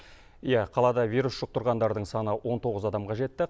иә қалада вирус жұқтырғандардың саны он тоғыз адамға жетті